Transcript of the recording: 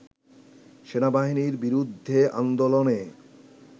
“সেনাবাহিনীর বিরুদ্ধে আন্দোলনে